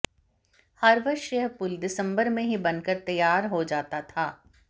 हर वर्ष यह पुल दिसंबर में ही बनकर तैयार हो जाता था